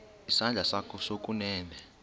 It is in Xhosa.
isandla sakho sokunene